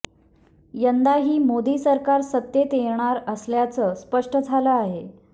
यंदाही मोदी सरकार सत्तेत येणार असल्याचं स्पष्ट झालं आहे